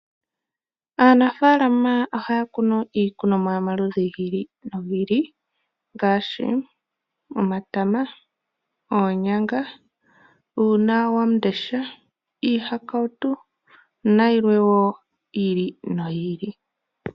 Aanafaalama ohaya kunu iikunomwa yomaludhi gi ili nogi ili. Ngaashi omatama, oonyanga, uuna wamundesha, iihakautu nayilwe wo yi ili noyi ili.